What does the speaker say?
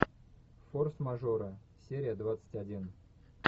форс мажоры серия двадцать один